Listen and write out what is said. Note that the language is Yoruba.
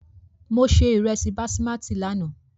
Mo se ìrẹsì basimátì lánàá.